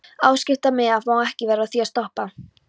Á skiptimiða, má ekki vera að því að stoppa.